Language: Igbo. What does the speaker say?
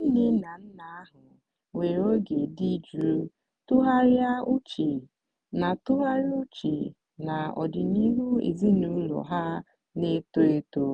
ndị nne na nna ahụ were oge dị jụụ tụgharịa uche na tụgharịa uche na ọdịnihu ezinụlọ ha na-eto eto.